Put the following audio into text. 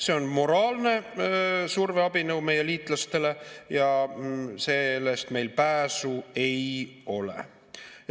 See on moraalne surveabinõu meie liitlastele ja sellest meil pääsu ei ole.